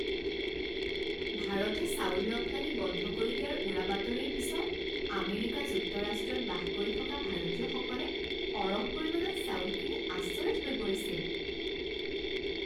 ভাৰতে চাউল ৰপ্তানি বন্ধ কৰি দিয়াৰ উৰাবাতৰিৰ পিছত আমেৰিকা যুক্তৰাষ্ট্ৰত বাস কৰি থকা ভাৰতীয়সকলে সৰহ পৰিমাণত চাউল কিনি আচৰিত হৈ পৰিছিল।